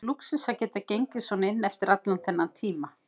Og lúxus að geta gengið svona inn eftir allan þennan tíma.